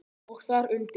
Og þar undir